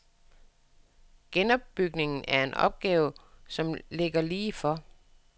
Genopbygningen er en opgave, som ligger lige for.